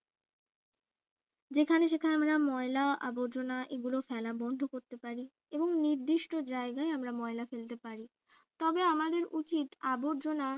যেখানে সেখানে আমরা যেমন ময়লা আবর্জনা এগুলো ফেলা বন্ধ করতে পারি এবং নির্দিষ্ট জায়গায় আমরা ময়লা ফেলতে পারি তবে আমাদের উচিত আবর্জনা